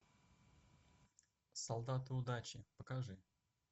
солдаты удачи покажи